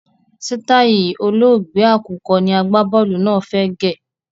Sitai olóògbé àkùkọ ni agbá-bọ́ọ́lù náà fẹ́ gẹ̀.